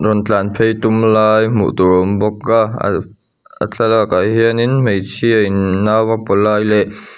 rawn tlan phei tum lai hmuh tur a awm bawk a a a thlalak ah hian in hmeichhia in nau a paw lai leh--